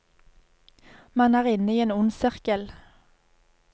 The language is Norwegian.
Man er inne i en ond sirkel.